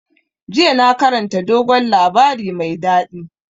Yesterday i read sweet tall tales.